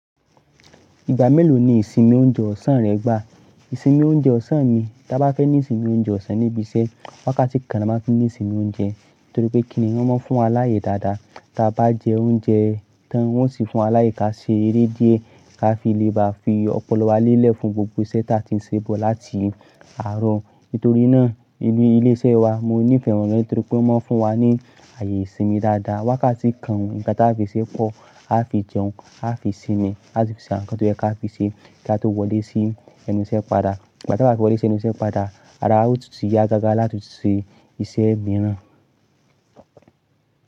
Ìgbà mélòó ni ìsinmi oúnjẹ ọ̀sán rẹ gbà? Ìsinmi oúnjẹ ọ̀sán mi, tí a bá fẹ́ ní ìsinmi oúnjẹ ọ̀sán níbi iṣẹ́, wákàtí kan la máa ń fi ní ìsinmi oúnjẹ. Nítorí pé kìni wọn máa ń fún wa láàyè dáadáa tí a bá jẹ oúnjẹ tán wọn sì fún wa láàyè ká ṣe eré díẹ̀ ká fi lè bá fi ọpọlọ wa lélẹ̀ fún gbogbo iṣẹ́ tí a ti ń ṣe bọ̀ láti àárọ̀. Nítorí náà nínú ilé iṣẹ́ wa mo nífẹ̀ẹ́ wọn nítorí pé wọ́n máa ń fún wa ní ààyè ìsinmi dáadáa. Wákàtí kan nkàn tí a fi ṣe pọ̀, a fi jẹun, a fi sinmi, àsi fi ṣe àwọn nǹkan tó yẹ ká fi ṣe kí a tó wọlé sí ẹnu iṣẹ́ padà. Ìgbà tí a bá ti wọlé sí ẹnu iṣẹ́ padà, ara wa ó tu ti yá gágá láti ṣe iṣẹ́ mìíràn.